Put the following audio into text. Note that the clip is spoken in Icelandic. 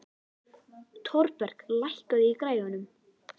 Thorberg, lækkaðu í græjunum.